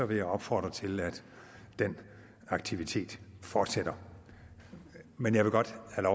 vil jeg opfordre til at den aktivitet fortsætter men jeg vil godt have